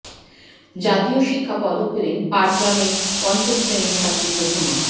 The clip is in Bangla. জাতীয় শিক্ষা পদক পেলেন পাটগ্রামের পঞ্চম শ্রেণির ছাত্রী প্রথমা